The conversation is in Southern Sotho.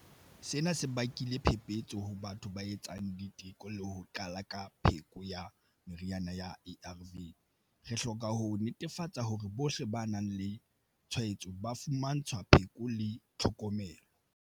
Sena se bakile phephetso ho batho ba etsang diteko le ho qala ka pheko ya meriana ya ARV. Re hloka ho netefatsa hore bohle ba nang le tshwaetso ba fumantshwa pheko le tlhokomelo.